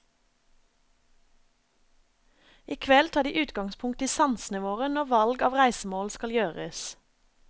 I kveld tar de utgangspunkt i sansene våre når valg av reisemål skal gjøres.